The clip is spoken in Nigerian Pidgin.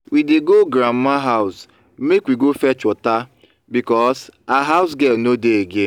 we dey go grandmama house make we go fetch water because her housegirl no dey again